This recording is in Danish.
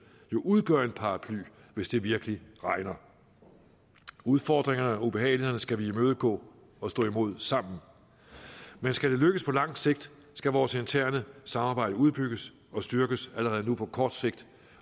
jo udgør en paraply hvis det virkelig regner udfordringerne og ubehagelighederne skal vi imødegå og stå imod sammen men skal det lykkes på lang sigt skal vores interne samarbejde udbygges og styrkes allerede nu på kort sigt